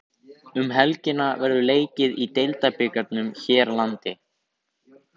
Um helgina verður leikið í Deildabikarnum hér landi.